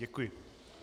Děkuji.